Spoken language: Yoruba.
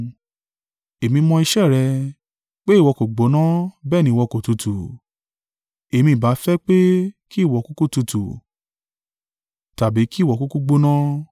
Èmi mọ̀ iṣẹ́ rẹ, pé ìwọ kò gbóná bẹ́ẹ̀ ni ìwọ kò tútù: èmi ìbá fẹ́ pé kí ìwọ kúkú tutù, tàbí kí ìwọ kúkú gbóná.